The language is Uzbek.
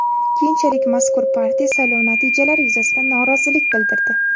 Keyinchalik mazkur partiya saylov natijalari yuzasidan norozilik bildirdi.